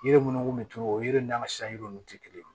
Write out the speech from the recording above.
Yiri minnu kun bɛ tunu o yiriw n'an ka ninnu tɛ kelen ye